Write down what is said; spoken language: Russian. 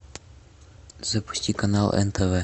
запусти канал нтв